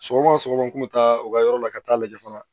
Sɔgɔma o sɔgɔma n kun bɛ taa u ka yɔrɔ la ka taa lajɛ fana